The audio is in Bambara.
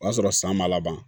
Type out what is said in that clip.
O y'a sɔrɔ san ma laban